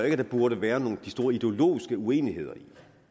ikke der burde være de store ideologiske uenigheder i